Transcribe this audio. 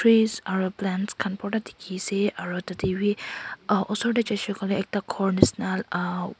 trees aro plants khan portha dikey ase aro taiwi ah osor tey jaisey koiley ekta ghor nishi na ah--